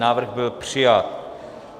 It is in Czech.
Návrh byl přijat.